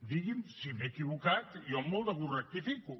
digui’m si m’he equivocat i jo amb molt de gust rectifico